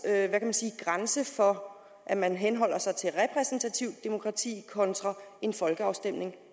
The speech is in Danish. grænse går for at man henholder sig til repræsentativt demokrati kontra en folkeafstemning